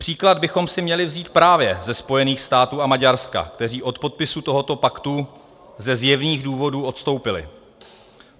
Příklad bychom si měli vzít právě ze Spojených států a Maďarska, kteří od podpisu tohoto paktu ze zjevných důvodů odstoupili.